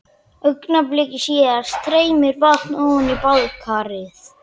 Augnabliki síðar streymir vatn ofan í baðkarið.